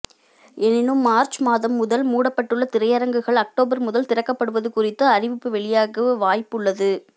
எனினும் மார்ச் மாதம் முதல் மூடப்பட்டுள்ள திரையரங்குகள் அக்டோபர் முதல் திறக்கப்படுவது குறித்து அறிவிப்பு வெளியாக வாய்ப்பு உள்ளது